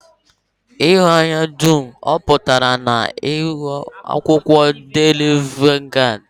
Ihu anyị dum ọ pụtara n'ihu akwụkwọ daily vanguard?